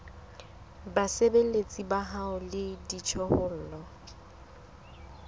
basebeletsi ba hao le dijothollo